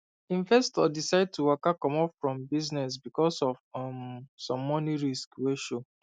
investor decide to waka comot from business because of um some money risk wey show